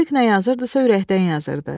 Müşfiq nə yazırdısa ürəkdən yazırdı.